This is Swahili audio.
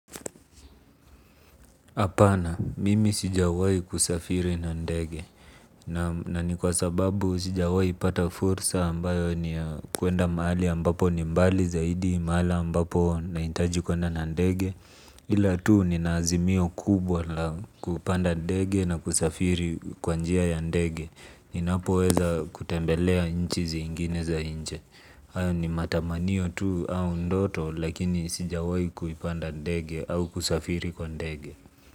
Hapana, mimi sijawahi kusafiri na ndege. Naam. Na ni kwa sababu sijawahi pata fursa ambayo ni ya kuenda mahali ambapo ni mbali zaidi, mahali ambapo nahitaji kuenda na ndege. Ila tu nina azimio kubwa la kupanda ndege na kusafiri kwa njia ya ndege. Ninapoweza kutembelea nchi zingine za nje. Hayo ni matamanio tu au ndoto lakini sijawahi kuipanda ndege au kusafiri kwa ndege.